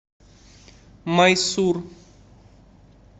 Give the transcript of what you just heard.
майсур